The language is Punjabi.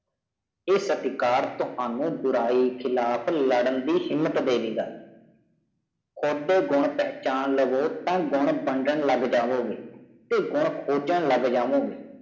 ਏਹ ਸਤਕਾਰ ਤੁਹਾਨੂੰ ਬੁਰਾਈ ਖ਼ਿਲਾਫ਼ ਲਾਡਨ ਦੀ ਹਿੰਮਤ ਦਵੇਗਾ ਕੂਦ ਗੂਨ ਪਹਿਚਾਣ ਲਾਵੋ ਤਾ ਗੁਨ ਵੰਦਾਨ ਲਗ ਜਾਵੋ ਗਾਏ ਤੇ ਗੂੰ ਖੋਜਾਂ ਲਗ ਜਾਵੋ ਗਾਇ